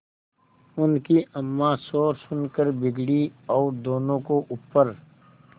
उनकी अम्मां शोर सुनकर बिगड़ी और दोनों को ऊपर